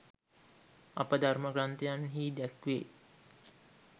අප ධර්ම ග්‍රන්ථයන්හි දැක්වේ.